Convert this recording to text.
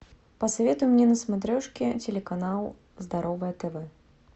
посоветуй мне на смотрешке телеканал здоровое тв